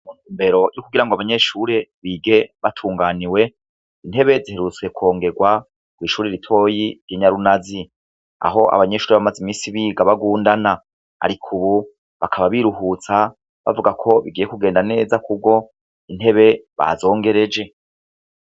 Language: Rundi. Mw'isomero kugira ngo abanyeshure bige batunganiwe, intebe ziherutse kwongerwa kw'ishure ritoya ry'i Nyarunazi, aho abanyeshure bari bamaze imisi biga bagundana. Ariko ubu, bakaba biruhutsa bavuga ko bigiye kugenda neza kuko intebe bazongereje.